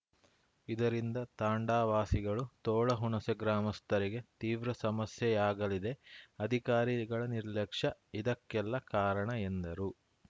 ಇದರಿಂದ ತಾಂಡಾ ವಾಸಿಗಳು ತೋಳಹುಣಸೆ ಗ್ರಾಮಸ್ಥರಿಗೆ ತೀವ್ರ ಸಮಸ್ಯೆಯಾಗಲಿದೆ ಅಧಿಕಾರಿಗಳ ನಿರ್ಲಕ್ಷ್ಯ ಇದಕ್ಕೆಲ್ಲ ಕಾರಣ ಎಂದರು